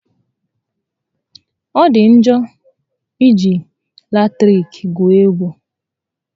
Ọ dị njọ iji ọkụ latiriki égwu egwú